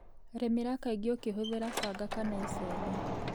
Rĩmĩra kaingĩ ũkihũthĩra banga kana icembe.